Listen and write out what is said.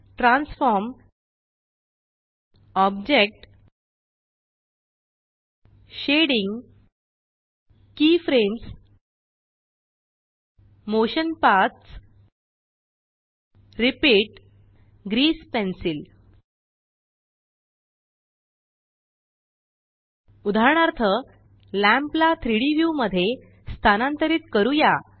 transform object shading keyframes motion paths repeat grease pencil उदाहरणार्थ lamp ला 3Dव्यू मध्ये स्थानांतरित करूया